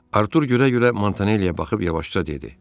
Artur görə-görə Montanelliyə baxıb yavaşca dedi: